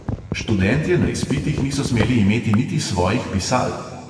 Študentje na izpitih niso smeli imeti niti svojih pisal.